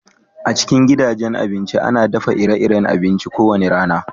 A cikin gidajen abinci, ana daffa ire-iren abinci ko wani rana.